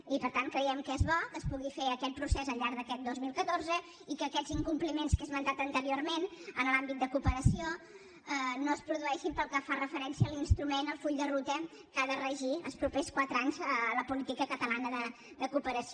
i per tant creiem que és bo que es pugui fer aquest procés al llarg d’aquest dos mil catorze i que aquests incompliments que he esmentat anteriorment en l’àmbit de cooperació no es produeixin pel que fa referència a l’instrument al full de ruta que ha de regir els propers quatre anys la política catalana de cooperació